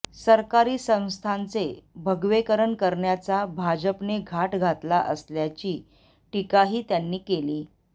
सरकारी संस्थांचे भगवेकरण करण्याचा भाजपने घाट घातला असल्याची टीकाही त्यांनी केली